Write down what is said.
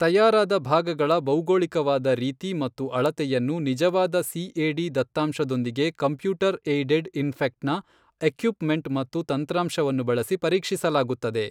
ತಯಾರಾದ ಭಾಗಗಳ ಭೌಗೋಳಿಕವಾದ ರೀತಿ ಮತ್ತು ಅಳತೆಯನ್ನು ನಿಜವಾದ ಸಿಎಡಿ ದತ್ತಾಂಶದೊಂದಿಗೆ ಕಂಪ್ಯೂಟರ್ ಎಯ್ಡೆಡ್ ಇನ್ಫೆಕ್ಟ್ನ ಎಕ್ಯುಪ್ ಮೆಂಟ್ ಮತ್ತು ತಂತ್ರಾಂಶವನ್ನು ಬಳಸಿ ಪರೀಕ್ಷಿಸಲಾಗುತ್ತದೆ.